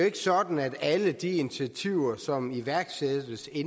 ikke sådan at alle de initiativer som iværksættes i